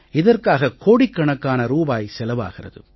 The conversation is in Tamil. இதற்காக கோடிக்கணக்கான ரூபாய் செலவாகிறது